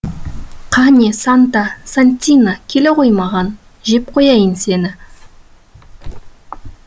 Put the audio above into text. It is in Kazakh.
қане санта сантина келе ғой маған жеп қояйын сені